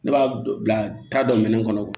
Ne b'a bila taa dɔ minɛn kɔnɔ